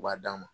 U b'a d'a ma